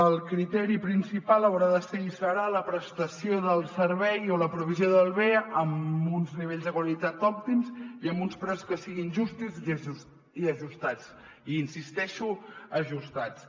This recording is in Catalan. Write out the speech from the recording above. el criteri principal haurà de ser i serà la prestació del servei o la provisió del bé amb uns nivells de qualitat òptims i amb uns preus que siguin justos i ajustats i insisteixo en ajustats